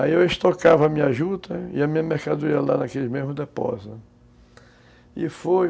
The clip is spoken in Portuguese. Aí eu estocava a minha juta e a minha mercadoria lá naquele mesmo depósito e foi